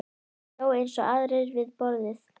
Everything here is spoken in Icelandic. Hann hló eins og aðrir við borðið.